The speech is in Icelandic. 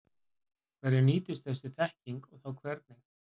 Hverjum nýtist þessi þekking og þá hvernig?